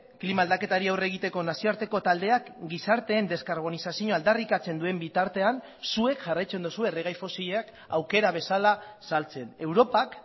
klima aldaketari aurre egiteko nazioarteko taldeak gizarteen deskarbonizazioa aldarrikatzen duen bitartean zuek jarraitzen duzue erregai fosilak aukera bezala saltzen europak